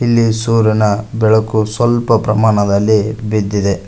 ಇಲ್ಲಿ ಸೂರ್ಯನ ಬೆಳಕು ಸ್ವಲ್ಪ ಪ್ರಮಾಣದಲ್ಲಿ ಬಿದ್ದಿದೆ.